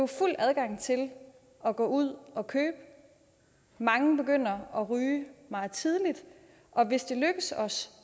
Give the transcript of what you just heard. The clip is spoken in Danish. fuld adgang til at gå ud og købe mange begynder at ryge meget tidligt og hvis det lykkes os